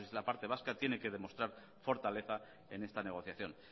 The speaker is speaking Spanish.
la parte vasca tiene que demostrar fortaleza en esta negociación